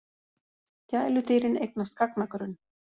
Gæludýrin eignast gagnagrunn